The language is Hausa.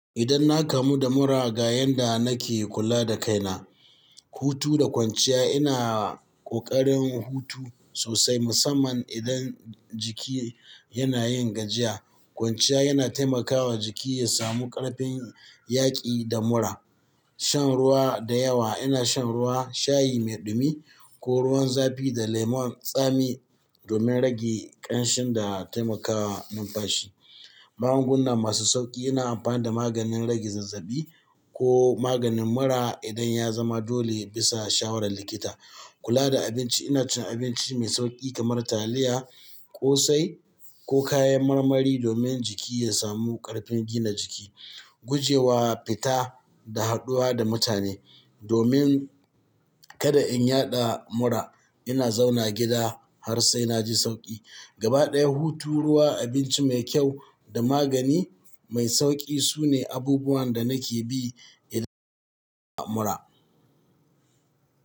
Idan na kamu da mura, ga yanda nake kula da kaina. Hutu da kwanciya, ina ƙoƙarin hutu sosai musamman idan jiki yana yin gajiya. Kwanciya yana taimakawa jiki ya samu ƙarfin yaƙi da mura. Shan ruwa da yawa, ina shan ruwa, shayi mai ɗumi ko ruwan zafi da lemon tsami domin rage ƙanshin da taimakawa numfashi. Magunguna masu sauƙi, ina amfani da maganin rage zazzabi ko maganin mura idan ya zama dole bisa shawarar likita. Kula da abinci, ina cin abinci mai sauƙi kamar taliya, ƙosai ko kayan marmari domin jiki ya samu ƙarfin gina jiki. Gujewa fita da haɗuwa da mutane domin kada in yaɗa mura. Ina zauna gida har sai na ji sauƙi. Gaba ɗaya, hutu, ruwa, abinci mai kyau da magani mai sauƙi su ne abubuwan da nake bi idan na yi mura.